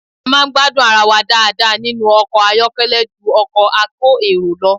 A máa ń gbádùn ara wa dáadáa nínú ọkọ̀ àyọ́kẹ́lẹ́ ju ọkọ̀ a kó èrò lọ